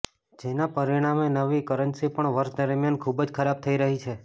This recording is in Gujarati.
જેના પરિણામે નવી કરન્સી પણ વર્ષ દરમિયાન ખૂબ જ ખરાબ થઈ રહી છે